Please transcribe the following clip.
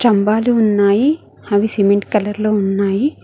స్తంభాలు ఉన్నాయి అవి సిమెంట్ కలర్ లో ఉన్నాయి.